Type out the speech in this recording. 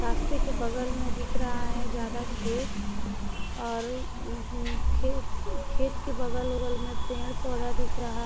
रास्ते के बगल में दिख रहा है ज्यादा खेत और खेत के बगल-वगल में पेड़ पौधा दिख रहा है।